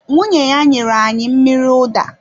Nwunye ya nyere anyị mmiri ụda